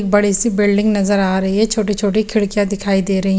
बड़ी सी बिल्डिंग नजर आ रही हे छोटी छोटी खिडकिया दिख रही हैं।